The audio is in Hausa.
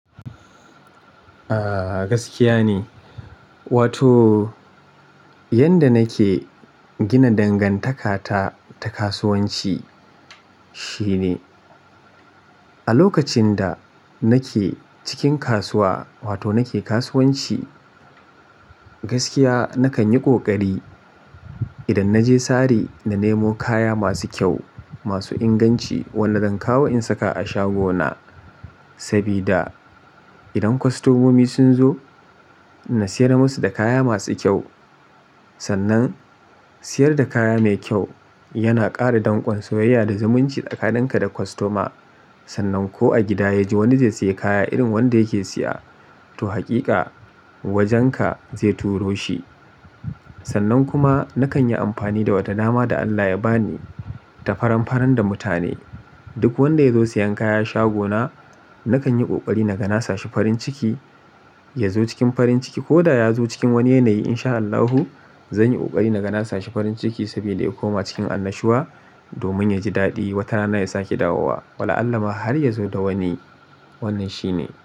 A gaskiya ne, wato yanda nake gina dangantakata ta kasuwanci shine a lokacin da nake cikin kasuwa wato nake kasuwanci gaskiya nakan yi ƙoƙari idan na je sari na nemo kaya masu kyau masu inganci, wannan zan kawo in saka a shagona sabida idan kwastomomi sun zo na siyar musu da kaya masu kyau. Sannan siyar da kaya mai kyau yana ƙara danƙon soyayya da zumunci da tsakanin ka da kwastoma. Sannan ko a gida yaji wani zai siya kaya irin wanda yake siya to hakika wajenka zai turo shi. Sannan kuma nakan yi amfani da wata nama da Allah ya ba ni ta faran faran da mutane. Duk wanda ya zo siyan kaya shagona nakan yi ƙoƙari naga na sa shi farin ciki, ya zo cikin farin ciki ko da ya zo cikin wani yanayi in sha Allahu zan yi ƙoƙari naga na sa shi farin ciki saboda ya koma cikin annashuwa domin yaji daɗi. Wata rana ya sake dawowa. Wala'allah har ya zo da wani. Wannan shine.